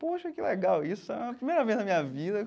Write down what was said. Poxa, que legal, isso é a primeira vez na minha vida.